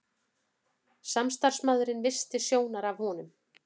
Samstarfsmaðurinn missti sjónar af honum.